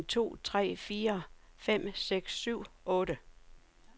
Tester en to tre fire fem seks syv otte.